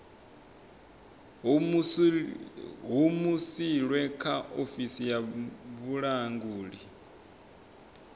humusilwe kha ofisi ya vhulanguli